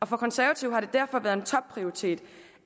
for konservative har det derfor været en topprioritet